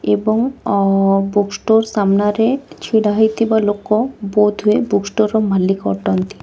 ଏବଂ ଅ book store ସାମ୍ନାରେ ଛିଡ଼ି ହୋଇଥିବା ଲୋକ ବଂଧୁ ଏ ବୁକ୍ ଷ୍ଟୋର ର ମାଲିକ ଅଟନ୍ତି।